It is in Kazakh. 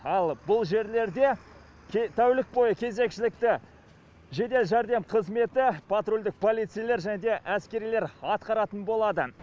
ал бұл жерлерде тәулік бойы кезекшілікті жедел жәрдем қызметі патрульдік полицейлер және де әскерилер атқаратын болады